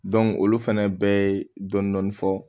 olu fɛnɛ bɛɛ ye dɔni dɔni fɔ